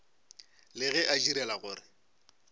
le ge a direla gore